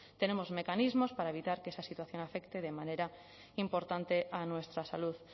tenemos mecanismos para evitar que esa situación afecte de manera importante a nuestra salud